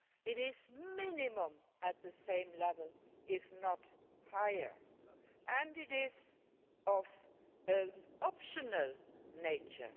It is at least at the same level, if not higher, and it is of an optional nature.